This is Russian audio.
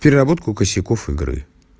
переработку косяков игры